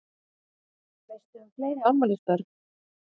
Veistu um fleiri afmælisbörn?